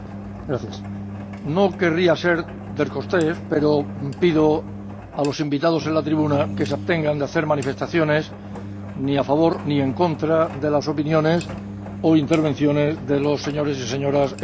No querría ser descortés, pero pido a los invitados en la tribuna que se abstengan de hacer manifestaciones ni a favor ni en contra de las opiniones o intervenciones de los señores y señoras diputados, por favor.